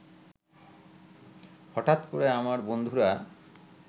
হঠাৎ করে আমার বন্ধুরা